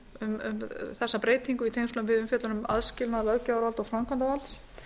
um þessa breytingu í tengslum við umfjöllun um aðskilnað löggjafarvalds og framkvæmdarvalds